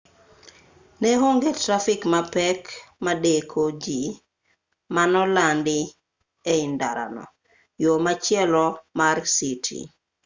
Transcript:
ne onge trafik mapek madeko jii manolandi e ndarano yo machielo mar citi